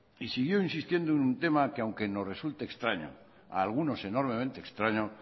y siguió insistiendo en un tema que aunque nos resulte extraño a algunos enormemente extraño